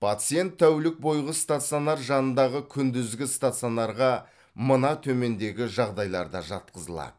пациент тәулік бойғы стационар жанындағы күндізгі стационарға мына төмендегі жағдайларда жатқызылады